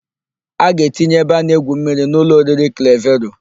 A ga-etinye ebe a na-egwu mmiri n' ụlọ oriri Klevero.